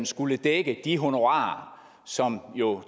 skulle dække de honorarer som jo